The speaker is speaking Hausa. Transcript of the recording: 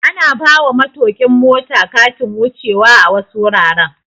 Ana bawa matokin mota Katin wuce wa a wasu wuraren